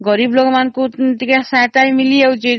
ଗରିବ ଲୋକ ମାନଙ୍କ ସହାୟତା ହୋଇପାରୁଛି